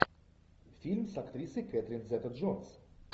фильм с актрисой кэтрин зета джонс